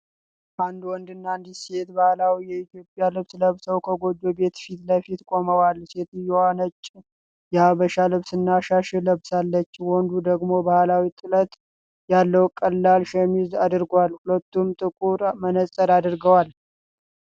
አንድ ወንድና አንዲት ሴት ባህላዊ የኢትዮጵያ ልብስ ለብሰው ከጎጆ ቤት ፊት ለፊት ቆመዋል። ሴትየዋ ነጭ የሀበሻ ልብስና ሻሽ ለብሳለች። ወንዱ ደግሞ ባህላዊ ጥለት ያለው ቀላል ሸሚዝ አድርጓል። ሁለቱም ጥቁር መነጽር አድርገዋል።